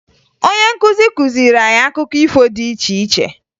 Onye nkuzi kuziri anyị akụkọ ifo dị iche iche